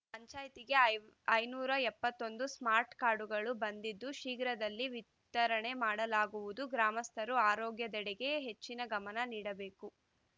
ಪಂಚಾಯತಿಗೆ ಐ ಐನೂರ ಎಪ್ಪತ್ತೊಂದು ಸ್ಮಾರ್ಟ್‌ ಕಾರ್ಡ್‌ಗಳು ಬಂದಿದ್ದು ಶೀಘ್ರದಲ್ಲೇ ವಿತರಣೆ ಮಾಡಲಾಗುವುದು ಗ್ರಾಮಸ್ಥರು ಆರೋಗ್ಯದೆಡೆಗೆ ಹೆಚ್ಚಿನ ಗಮನ ನೀಡಬೇಕು